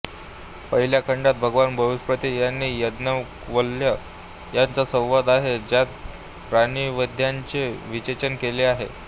पहिल्या खंडात भगवान बृहस्पती आणि याज्ञवल्क्य यांचा संवाद आहे ज्यात प्राणविद्येचे विवेचन केलेले आहे